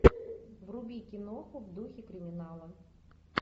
вруби киноху в духе криминала